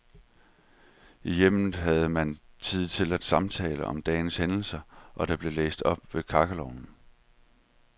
I hjemmet havde man tid til at samtale om dagens hændelser, og der blev læst op ved kakkelovnen.